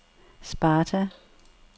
Sparta